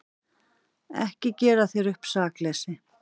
Ekki gera þér upp sakleysi.